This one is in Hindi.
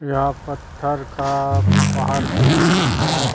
यहां पत्थर का पहाड़ जैसा दिख रहा है।